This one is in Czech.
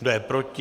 Kdo je proti?